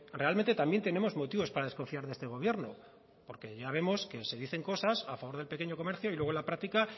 realmente también tenemos motivos para desconfiar de este gobierno porque ya vemos que se dicen cosas a favor del pequeño comercio y luego en la práctica